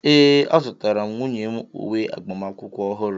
ee, azụtara m nwunye m uwe agbamakwụkwọ ọhụrụ